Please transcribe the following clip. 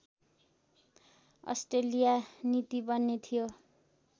Australia नीति बन्ने थियो